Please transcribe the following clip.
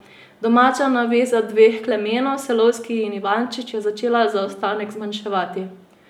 Domača naveza dveh Klemenov, Selovski in Ivančič, je začela zaostanek zmanjševati.